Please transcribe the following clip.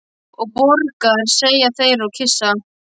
Og borgar, segja þeir og kyssa.